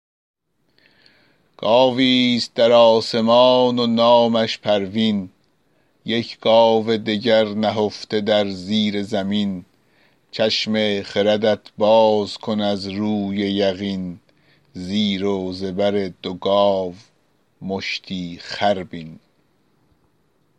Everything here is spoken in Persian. گاوی ست در آسمان و نامش پروین یک گاو دگر نهفته در زیر زمین چشم خردت باز کن از روی یقین زیر و زبر دو گاو مشتی خر بین